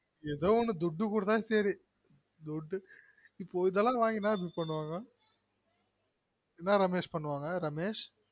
எதோ ஒன்னு துட்டு குடுத்த சரி இதெல்லாம் வாங்கி என்ன அபி பண்ணுவாங்க என்ன ரமேஷ் பண்ணுவாங்க ரமேஷ்